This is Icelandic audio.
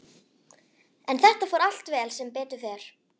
En þetta fór allt vel, sem betur fer.